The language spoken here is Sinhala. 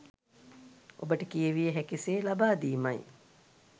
ඔබට කියවිය හැකි සේ ලබාදීමයි.